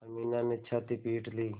अमीना ने छाती पीट ली